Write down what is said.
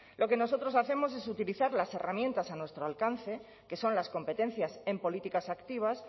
lo que nosotros hacemos es utilizar las herramientas a nuestro alcance que son las competencias en políticas activas